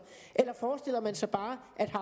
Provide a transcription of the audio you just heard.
eller forestiller man sig bare